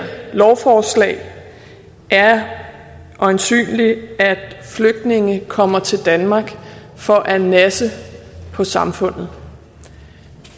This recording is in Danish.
lovforslag er øjensynlig at flygtninge kommer til danmark for at nasse på samfundet